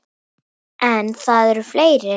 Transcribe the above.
En það eru fleiri.